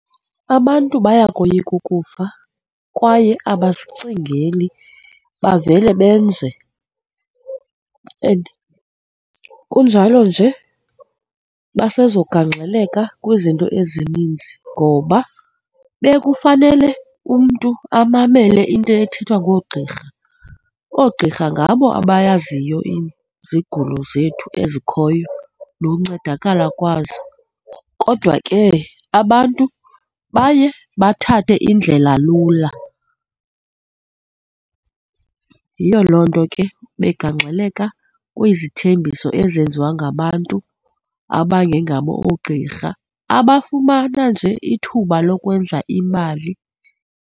Abantu bayakoyika ukufa kwaye abasicingeli bavele benze and kunjalo nje basezogangxeleka kwizinto ezininzi ngoba bekufanele umntu amamele into ethethwa ngoogqirha, oogqirha ngabo abayaziyo izigulo zethu ezikhoyo noncedakala kwazo. Kodwa ke, abantu baye bathathe indlela lula. Yiyo loo nto ke begaxeleka kwezithembiso ezenziwa ngabantu abangengabo oogqirha, abafumana nje ithuba lokwenza imali.